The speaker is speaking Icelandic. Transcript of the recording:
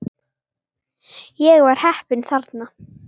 Ég var heppinn þarna